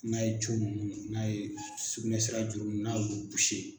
N'a ye ninnu n'a ye sugunɛsira juru nun n'a ye olu